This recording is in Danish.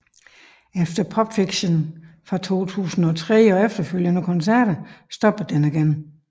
Efter Popfiction fra 2003 og efterfølgende koncerter stoppede den igen